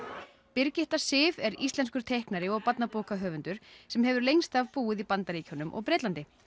Birgitta Sif er íslenskur teiknari og barnabókahöfundur sem hefur lengst af búið í Bandaríkjunum og Bretlandi